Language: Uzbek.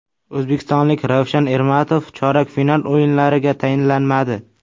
O‘zbekistonlik Ravshan Ermatov chorak final o‘yinlariga tayinlanmadi.